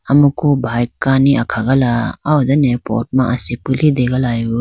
amuku bhike kani akhala ah done pot ma asipi litegala.